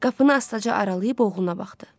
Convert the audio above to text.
Qapını astaca aralayıb oğluna baxdı.